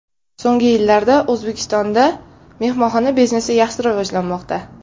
So‘nggi yillarda O‘zbekistonda mehmonxona biznesi yaxshi rivojlanmoqda.